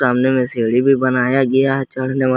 सामने में सीढ़ी भी बनाया गया है चढ़ने वाला।